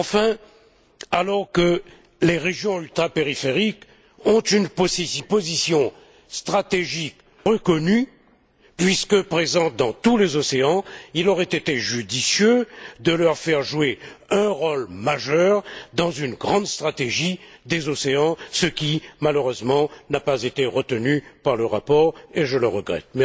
Enfin, alors que les régions ultrapériphériques ont une position stratégique reconnue puisque présentes dans tous les océans, il aurait été judicieux de leur faire jouer un rôle majeur dans une grande stratégie des océans ce qui, malheureusement, n'a pas été retenu par le rapport et je le regrette.